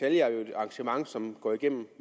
arrangement som går igennem